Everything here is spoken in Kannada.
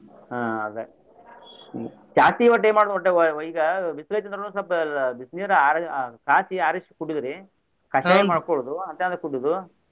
ಹ್ಮ್ ಅದ ಹ್ಮ್ ಜಾಸ್ತಿ ಒಟ್ಟ ಏನ್ ಮಾಡ್ಬೇಕ್ ಒಟ್ಟರಿ ಈಗ ಬಿಸಲ ಐತಿ ಅಂದ್ರುನು ಸ್ವಲ್ಪ ಬಿಸಿ ನೀರ್ ಆರ ಕಾಸಿ ಆರಿಸಿ ಕುಡಿಯುದ್ರಿ. ಕಷಾಯ ಮಾಡ್ಕೊಳುದು ಅಂತಾದು ಕುಡಿಯುದು.